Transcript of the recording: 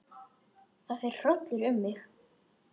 Það fer hrollur um mig.